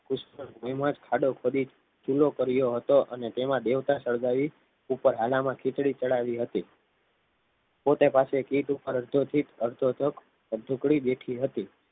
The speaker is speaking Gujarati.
કુસુમની જુમપડી જ ખાડો ખોદી ચૂલો કર્યો હતો અને તેમાં દેવતા સળગાવી ઉપર હાલમાં ખીચડી ચઢાવી હતી. પોતે પાછી એક ઈંટ ઉપર અડધો સીટ અડધો જગ અડધો ટુકડી બેઠી હતી.